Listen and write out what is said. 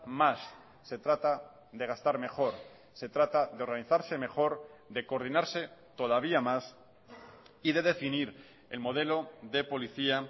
más se trata de gastar mejor se trata de organizarse mejor de coordinarse todavía más y de definir el modelo de policía